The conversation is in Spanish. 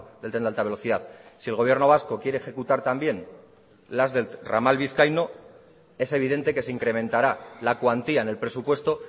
del tren de alta velocidad si el gobierno vasco quiere ejecutar también las del ramal vizcaíno es evidente que se incrementará la cuantía en el presupuesto